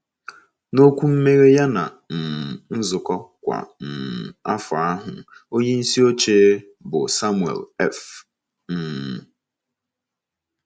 N’okwu mmeghe ya ná um nzukọ kwa um afọ ahụ, onyeisi oche, bụ́ Samuel F um.